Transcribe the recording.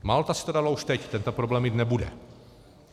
Malta si to dala už teď, tento problém mít nebude.